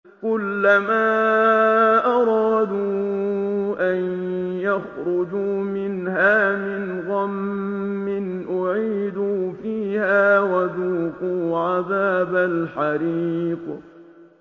كُلَّمَا أَرَادُوا أَن يَخْرُجُوا مِنْهَا مِنْ غَمٍّ أُعِيدُوا فِيهَا وَذُوقُوا عَذَابَ الْحَرِيقِ